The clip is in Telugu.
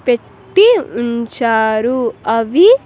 పెట్టి ఉంచారు అవి.